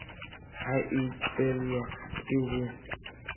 he a tlelwa ke ho